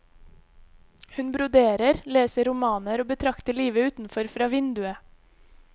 Hun broderer, leser romaner og betrakter livet utenfor fra vinduet.